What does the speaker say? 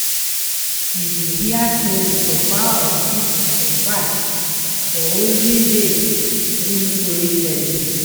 We dey hear stories of how our people survive for olden days through storytelling.